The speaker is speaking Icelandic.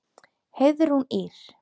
Heiðrún Ýr.